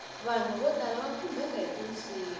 vanhu vo tala va khumbeka hiti nsimu